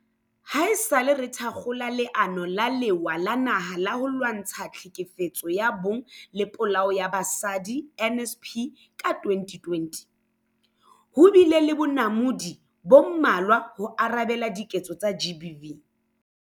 Haesale re thakgola Leano la Lewa la Naha la ho Lwantsha Tlhekefetso ya Bong le Polao ya Basadi, NSP, ka 2020, ho bile le bonamodi bo mmalwa ho arabela diketso tsa GBV.